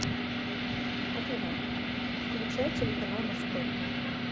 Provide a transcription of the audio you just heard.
афина включай телеканал морской